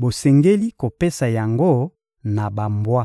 bosengeli kopesa yango na bambwa.